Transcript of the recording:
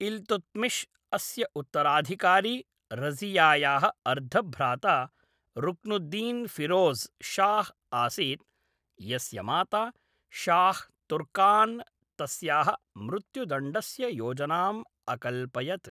इल्तुत्मिश् अस्य उत्तराधिकारी रज़ियायाः अर्धभ्राता रुक्नुद्दीनफिरोज़ शाह् आसीत्, यस्य माता शाह् तुर्कान् तस्याः मृत्युदण्डस्य योजनाम् अकल्पयत्।